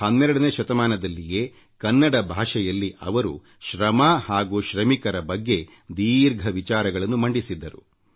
12ನೇ ಶತಮಾನದಲ್ಲಿಯೇ ಕನ್ನಡ ಭಾಷೆಯಲ್ಲಿ ಅವರು ಶ್ರಮ ಹಾಗೂ ಶ್ರಮಿಕರ ಬಗ್ಗೆ ದೀರ್ಘ ವಿಚಾರಗಳನ್ನು ಮಂಡಿಸಿದ್ದರು